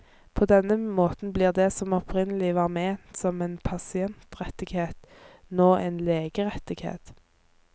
På denne måten blir det som opprinnelig var ment som en pasientrettighet, nå en legerettighet.